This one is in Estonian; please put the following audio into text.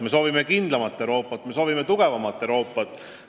Me soovime kindlamat Euroopat, me soovime tugevamat Euroopat.